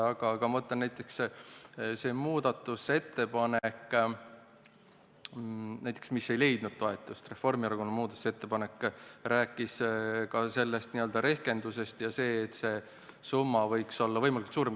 Aga ma ütlen, et näiteks see muudatusettepanek, mis ei leidnud toetust, Reformierakonna muudatusettepanek, rääkis ka n-ö rehkendusest ja sellest, summa võiks olla võimalikult suurem.